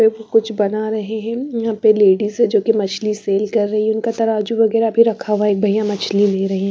कुछ बना रहे हैं यहां पे लेडीज जो की मछली सेल कर रही है उनका तराजू वगैरा भी रखा हुआ है एक भईया मछली ले रहें --